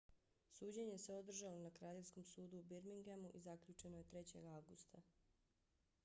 suđenje se održalo na kraljevskom sudu u birminghamu i zaključeno je 3. avgusta